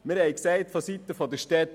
Vonseiten der Städte haben wir gesagt: